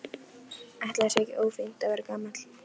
Ætli það sé eitthvað ófínt að vera gamall?